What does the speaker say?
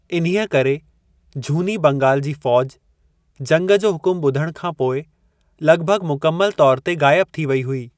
इन्हीअ करे झूनी बंगाल जी फौज, जंग जो हुकुम ॿुधण खां पोइ लॻभॻ मुकमल तोर ते गाइब थी वई हुई।